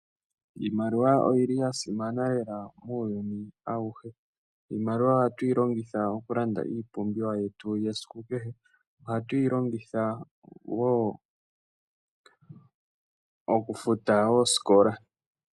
Iimaliwa oyili yasimana lela muyuni awuhe. Iimaliwa ohatuyi longitha oku landa iipumbiwa yetu yesiku kehe. Ohatu yi longitha wo oku futa oosikola.